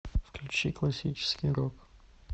включи классический рок